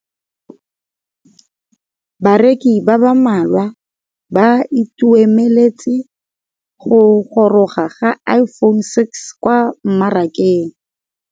Bareki ba ba malwa ba ituemeletse go gôrôga ga Iphone6 kwa mmarakeng.